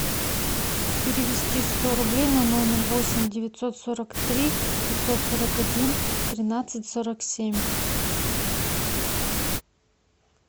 перевести сто рублей на номер восемь девятьсот сорок три пятьсот сорок один тринадцать сорок семь